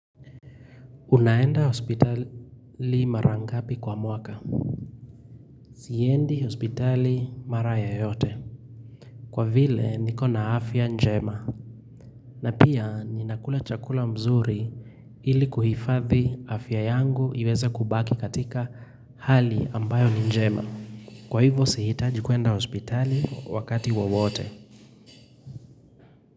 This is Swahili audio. Unaenda hospitali mara ngapi kwa mwaka. Siendi hospitali mara yoyote. Kwa vile niko na afya njema. Na pia ninakula chakula mzuri ili kuhifadhi afya yangu iweze kubaki katika hali ambayo ni njema. Kwa hivyo si hitaji kuenda hospitali wakati wowote.